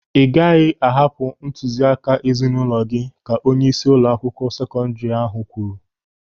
"Ị gaghị ahapụ ntụziaka ezinụlọ gị", ka onyeisi ụlọakwụkwọ sekọndiri ahụ kwuru.